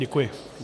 Děkuji.